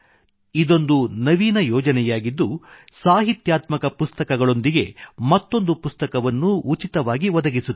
ಇದೊಂದು ನವೀನ ಯೋಜನೆಯಾಗಿದ್ದು ಸಾಹಿತ್ಯಾತ್ಮಕ ಪುಸ್ತಕಗಳೊಂದಿಗೆ ಮತ್ತೊಂದು ಪುಸ್ತಕವನ್ನು ಉಚಿತವಾಗಿ ಒದಗಿಸುತ್ತದೆ